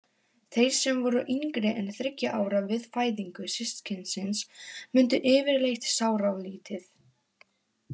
Þeir sem voru yngri en þriggja ára við fæðingu systkinisins mundu yfirleitt sáralítið.